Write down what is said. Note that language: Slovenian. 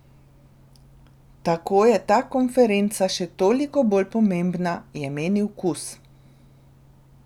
Tako je ta konferenca še toliko bolj pomembna, je menil Kus.